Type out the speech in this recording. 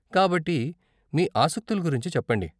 కాబట్టి మీ ఆసక్తుల గురించి చెప్పండి.